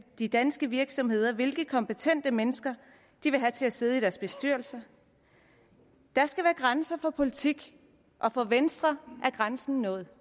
de danske virksomheder hvilke kompetente mennesker de vil have til at sidde i deres bestyrelser der skal være grænser for politik og for venstre er grænsen nået